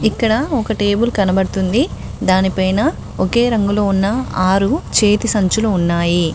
ఇక్కడ ఒక టేబుల్ కనపడుతుంది దాని పైన ఒకే రంగులో ఉన్న ఆరు చేతి సంచులు ఉన్నాయి.